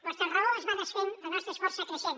vostra raó es va desfent la nostra és força creixent